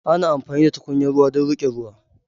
Ana amfani da tukunya ruwa don riƙe ruwa.